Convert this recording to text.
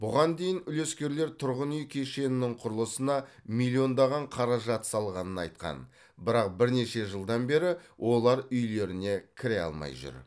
бұған дейін үлескерлер тұрғын үй кешенінің құрылысына миллиондаған қаражат салғанын айтқан бірақ бірнеше жылдан бері олар үйлеріне кіре алмай жүр